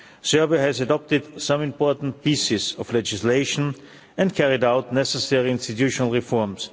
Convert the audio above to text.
Serbia has adopted some important pieces of legislation and carried out necessary institutional reforms.